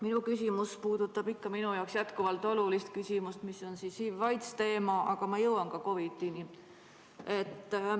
Minu küsimus puudutab ikkagi minu jaoks jätkuvalt olulist küsimust, mis on HIV‑i ja aidsi teema, aga ma jõuan ka COVID‑ini.